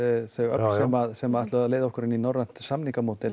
þau öfl sem ætluðu að leiða okkur inn í norrænt